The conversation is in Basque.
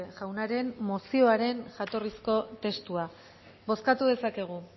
jaunaren mozioaren jatorrizko testua bozkatu dezakegu